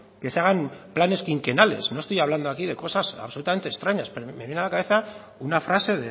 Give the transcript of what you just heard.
que se hagan planes quinquenales no estoy hablando aquí de cosas absolutamente extrañas pero me viene a la cabeza una frase